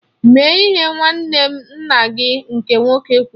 Mee ihe nwanne nna gị nke nwoke kwụrụ.